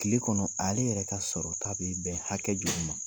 Tile kɔnɔ ale yɛrɛ ka sɔrɔta bɛ bɛn hakɛ joli ma ?